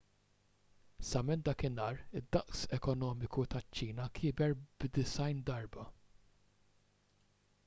sa minn dakinhar id-daqs ekonomiku taċ-ċina kiber b’90 darba